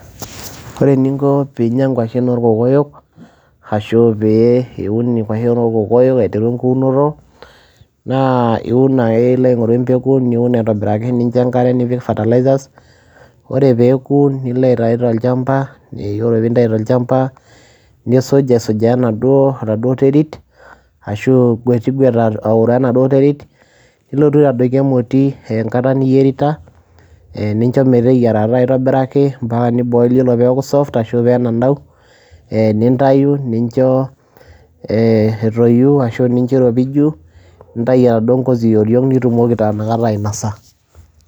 ore eninko pee inyia nkwashen orkokoyok ashu pee iun nkwashen oorkokoyok. aiteru enkuunoto. naa iun ake niloo aingoru empeku, niun aitobiraki, nincho enkare, nipik fertiliers ore pee eku nilo aitayu tolchampa, ore pee intayu tolchampa, nisuj aisujaa enaduo terit, ashu ingwetigwet aoroo enaduo terit. nilotu aitadoiki emoti enkata niyierita. nincho metyeiarata aitobiraki. mpaka ni boil ore pee eku soft nintayu, nincho etoyu, ashu nincho iropiju, nintayu enaduoo ngozi yioriong',nitumoki taa inakata ainasa.